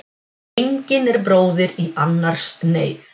Engin er bróðir í annars neyð.